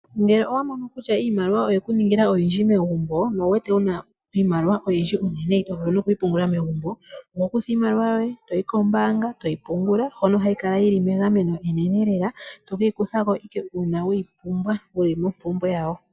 Ngele owa mono kutya iimaliwa oye ku ningila oyindji megumbo no wu wete wuna iimaliwa oyindji unene ito vulu nokuyi pungula megumbo. Oho kutha iimaliwa yoye toyi kombaanga toyi pungula. Hono hayi kala yi li megameno enene lela, to keyi kutha ike uuna wuli mompumbwe ya yo.